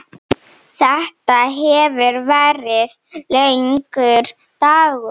Þetta hefur verið langur dagur.